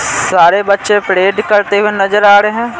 सारे बच्चे परेड करते हुए नजर आ रहे हैं।